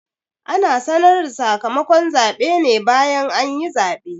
Ana sanar da sakamakon zaɓe ne bayan anyi zaɓe